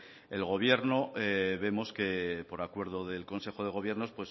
el gobierno vemos que por acuerdo del consejo de gobierno